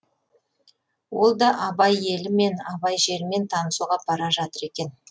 ол да абай елімен абай жерімен танысуға бара жатыр екен